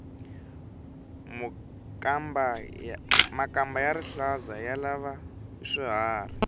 makamba ya rihlaza ya lava hi swiharhi